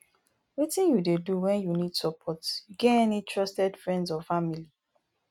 wetin you dey do when you need support you get any trusted friends or family